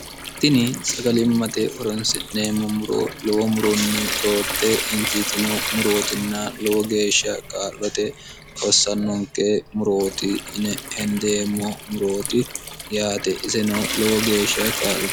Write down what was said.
tini sagalimmate horonsi'neemmo luwo murunni roorte injiitino murootinna lowo geeshsha kaa'lote hossannonke murooti yine hendeemmo murooti yaate iseno lowo geeshsha kaa'lo